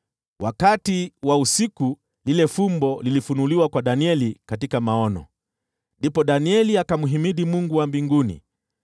Wakati wa usiku lile fumbo lilifunuliwa kwa Danieli katika maono. Ndipo Danieli akamhimidi Mungu wa mbinguni,